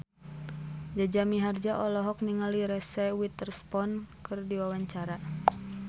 Jaja Mihardja olohok ningali Reese Witherspoon keur diwawancara